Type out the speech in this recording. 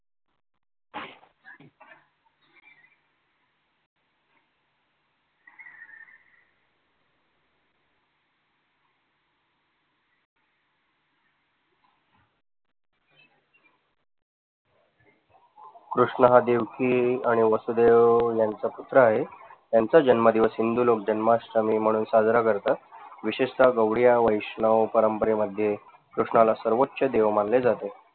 कृष्ण हा देवकी आणि वासुदेव यांचा पुत्र आहे यांचा जन्मदिवस हिंदू लोक जन्माष्टमी म्हणून साजरा करतात. विशेषतः गवळी या वैष्णव परंपरेमध्ये कृष्णाला सर्वोच्च देव मानले जाते.